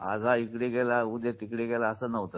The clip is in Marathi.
आज हा ईकडे गेला उद्या तिकडे गेला असं नव्हतं.